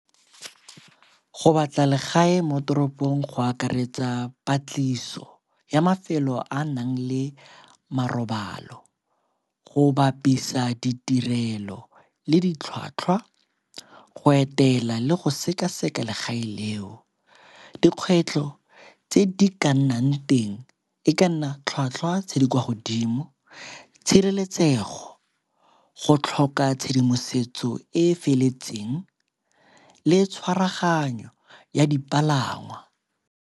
Go batla legae mo toropong go akaretsa patliso ya mafelo a a nang le marobalo, go bapisa ditirelo le ditlhwatlhwa, go etela le go sekaseka legae leo. Dikgwetlho tse di ka nnang teng e ka nna tlhwatlhwa tse di kwa godimo, tshireletsego, go tlhoka tshedimosetso e e feletseng le tshwaraganyo ya dipalangwa.